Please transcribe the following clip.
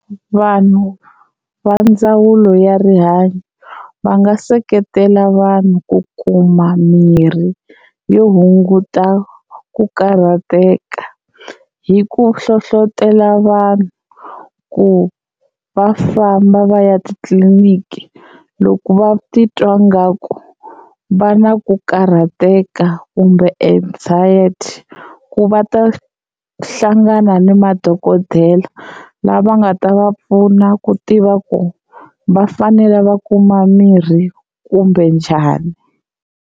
Vanhu va ndzawulo ya rihanyo va nga seketela vanhu ku kuma mirhi yo hunguta ku karhateka hi ku hlohlotelo vanhu ku va famba va ya titliliniki loko va titwa ngaku va na ku karhateka kumbe anxiety ku va ta hlangana ni madokodela lava nga ta va pfuna ku tiva ku va fanele va kuma mirhi kumbe njhani.